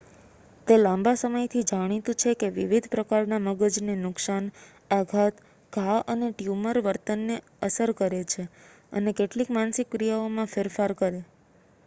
તે લાંબા સમયથી જાણીતું છે કે વિવિધ પ્રકારના મગજને નુકસાન આઘાત ઘા અને ટ્યુમર વર્તનને અસર કરે છે અને કેટલીક માનસિક ક્રિયાઓમાં ફેરફાર કરે